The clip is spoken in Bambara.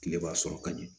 Tile b'a sɔrɔ ka ɲɛ